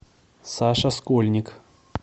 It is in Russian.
саша скольник